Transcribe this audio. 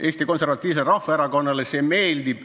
Eesti Konservatiivsele Rahvaerakonnale see meeldib.